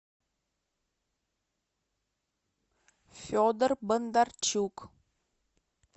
федор бондарчук